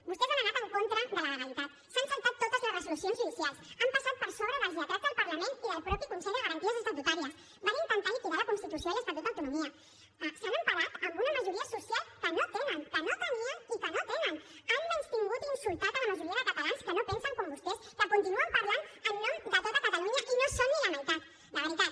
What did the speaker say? vostès han anat en contra de la legalitat s’han saltat totes les resolucions judicials han passat per sobre dels lletrats del parlament i del mateix consell de garanties estatutàries van intentar liquidar la constitució i l’estatut d’autonomia s’han emparat en una majoria social que no tenen que no tenien i que no tenen han menystingut i insultat a la majoria de catalans que no pensen com vostès que continuen parlant en nom de tot catalunya i no són ni la meitat de veritat